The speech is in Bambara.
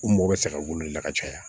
U mɔgɔ bɛ se ka welela ka caya